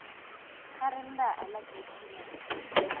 ba reng ba alacrity na